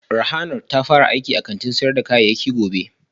Rahanart ta fara aiki a sayar da kayayyaki gobe